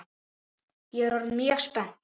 Ég er orðin mjög spennt!